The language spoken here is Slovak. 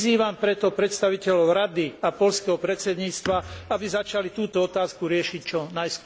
Vyzývam preto predstaviteľov Rady a poľského predsedníctva, aby začali túto otázku riešiť čo najskôr.